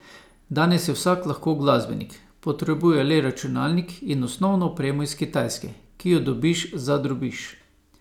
Danes je vsak lahko glasbenik, potrebuje le računalnik in osnovno opremo iz Kitajske, ki jo dobiš za drobiž.